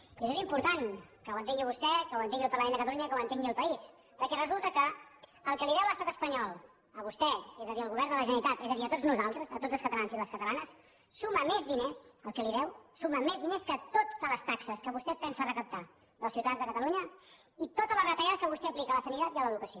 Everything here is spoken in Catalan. i això és important que ho entengui vostè que ho entengui el parlament de catalunya i que ho entengui el país perquè resulta que el que li deu l’estat espanyol a vostè és a dir al govern de la generalitat és a dir a tots nosaltres a tots els catalans i les catalanes suma més diners el que li deu que totes les taxes que vostè pensa recaptar dels ciutadans de catalunya i totes les retallades que vostè aplica a la sanitat i a l’educació